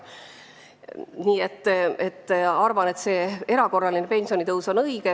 Nii et arvan, et erakorraline pensionitõus on õige.